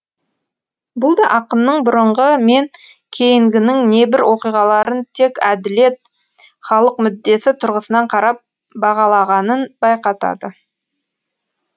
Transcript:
бұл да ақынның бұрынғы мен кейінгінің небір оқиғаларын тек әділет халық мүддесі тұрғысынан қарап бағалағанын байқатады